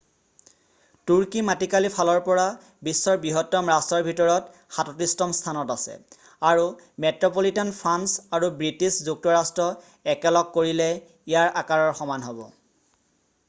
তুৰ্কী মাটিকালি ফালৰ পৰা বিশ্বৰ বৃহত্তম ৰাষ্ট্ৰৰ ভিতৰত 37তম স্থানত আছে আৰু মেট্ৰ'পলিটান ফ্ৰান্স আৰু বৃষ্টিছ যুক্তৰাষ্ট্ৰ একেলগ কৰিলে ইয়াৰ আকাৰৰ সমান হ'ব